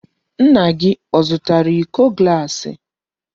Nna gị ọ zụtara iko gaasi?